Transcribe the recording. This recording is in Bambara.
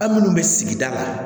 An minnu bɛ sigida la